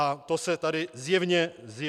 A to se tady zjevně neděje.